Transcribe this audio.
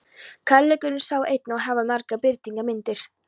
Kærleikurinn sé einn en hafi margar birtingarmyndir